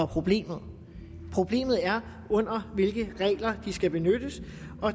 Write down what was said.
problemet problemet er under hvilke regler de skal benyttes